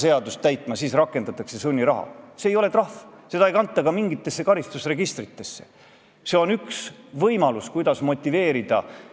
Küsimus ei ole mitte milleski muus kui lihtsalt tahtmises, suhtumises eesti keelde, eesti rahvusesse, Eesti kultuuri ja lõppkokkuvõttes, kui seda veel laiendada, siis lojaalsuses Eesti Vabariigile, kus põhiseadusega on paika pandud, et eesti keel on riigikeel.